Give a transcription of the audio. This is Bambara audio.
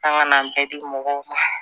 An ka n'an bɛɛ di mɔgɔw ma